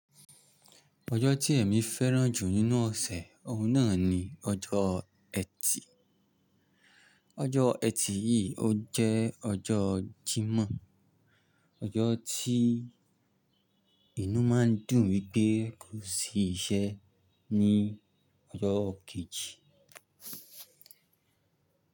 Ọjọ́ tí èmi fẹ́ràn jù nínú ọ̀sẹ̀, ọ̀un náà ni ọjọ́ ẹtì. Ọjọ́ ẹtì yìí ó jẹ́ ọjọ́ Jímọ̀, ọjọ́ tí inú máa ń dùn wí pé kò sí iṣẹ́ ní ọjọ́ kejì.